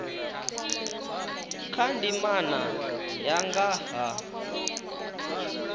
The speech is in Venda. kha ndimana ya nga ha